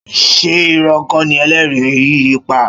Ṣé ìrọ́ kọ́ ni ẹlẹ́rìí yìí ń pa?